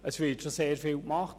Es wird schon sehr vieles getan.